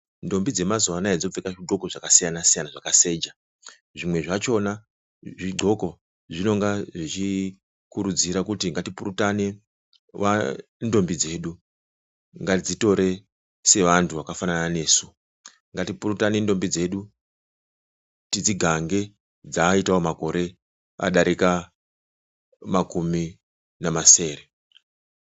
Ndombi dzemazuva anaa dzopfeka zvidxoko zakasiyana siyana dzakaseja. Zvimwe zvachona zvidxoko zvinonga zvichikurudzira kuti ngatipurutane ndombi dzedu ngatidzitore sevantu vakafanana nesu. Ngatipurute ndombi dzedu tidzigange dzaita makore adarika makumi namasere.